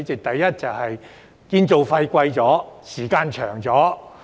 第一，建築費更高、時間更長。